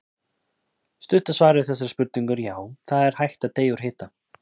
Stutta svarið við þessari spurningu er já, það er hægt að deyja úr hita.